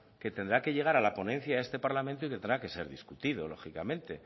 que tendrá que llegar a la ponencia de este parlamento y tendrá que ser discutido lógicamente